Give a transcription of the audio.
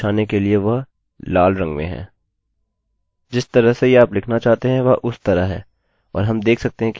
जिस तरह से यह आप लिखना चाहते हैं वह उस तरह है और हम देख सकते हैं कि यह सही है